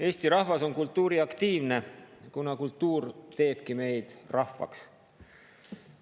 Eesti rahvas on kultuuriaktiivne, kuna kultuur teebki meid rahvaks.